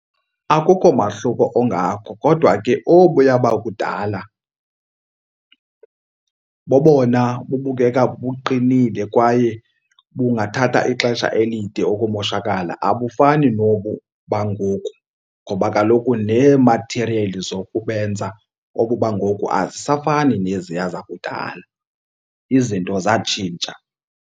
Akukho mahluko ungako kodwa ke obuya bakudala bobona bubukeka buqinile kwaye bungathatha ixesha elide ukumoshakala. Abufani nobu bangoku ngoba kaloku nee-material zokubenza obu bangoku azisafani neziya zakudala. Izinto zatshintsha.